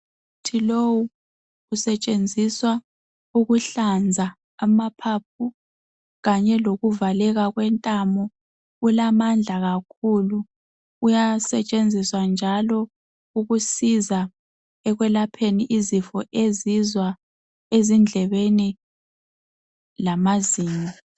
Umuthi lowu usetshenziswa ukuhlanza amaphaphu kanye lokuvaleka kwentamo ulamandla kakhulu uyasetshenziswa njalo ukusiza ekwelapheni izifo ezizwa ezindlebeni lamazinyo.